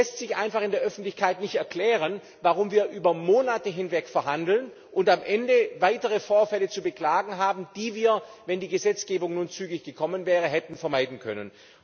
Es lässt sich einfach in der Öffentlichkeit nicht erklären, warum wir über Monate hinweg verhandeln und am Ende weitere Vorfälle zu beklagen haben, die wir, wenn die Gesetzgebung nun zügig gekommen wäre, hätten vermeiden können.